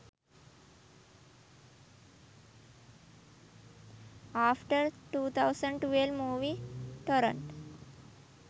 after 2012 movie torrent